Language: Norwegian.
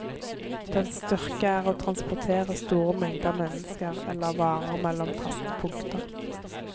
Dens styrke er å transportere store mengder mennesker eller varer mellom faste punkter.